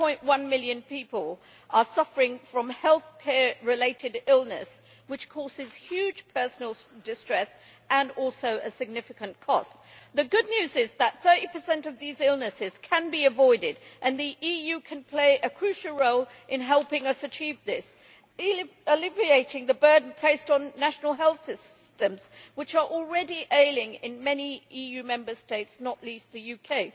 4.1 million people are suffering from healthcare related illness, which causes huge personal distress and also a significant cost. The good news is that 30 of these illnesses can be avoided and the EU can play a crucial role in helping us achieve this, alleviating the burden placed on national health systems, which are already ailing in many EU Member States, not least the UK.